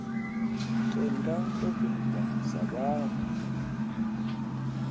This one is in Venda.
tenda ndo beba sa vhaṋwe